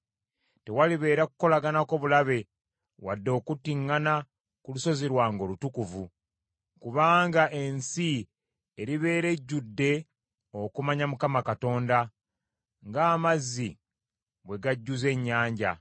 Tewalibeera kukolaganako bulabe wadde okuttiŋŋana ku lusozi lwange olutukuvu. Kubanga ensi eribeera ejjudde okumanya Mukama Katonda, ng’amazzi bwe gajjuza ennyanja.